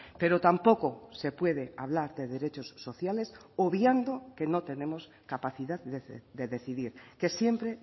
pero tampoco se puede hablar de derechos sociales obviando que no tenemos capacidad de decidir que siempre